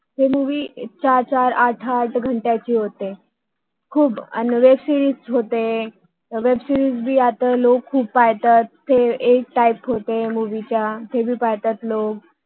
हे मुवि चार चार आठ आठ घणत्याची होते आणि वेब सिरिज होते वेब सिरीज पण आता लोक खूप बघतात ते एक टाईप Types असतो मुवि चा